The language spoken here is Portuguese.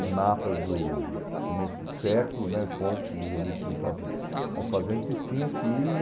em mapas do começo do século né, pontos onde tinham as fazendas e tinha que ir.